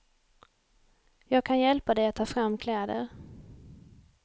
Jag kan hjälpa dig att ta fram kläder.